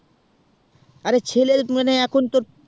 আরে ছেলে মানে এখন তো